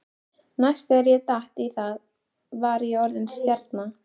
Næst þegar ég datt í það var ég orðinn stjarna.